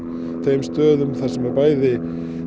þeim stöðum þar sem er bæði